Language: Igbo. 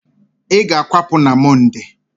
ị ga-akwapụ n' Mọnde!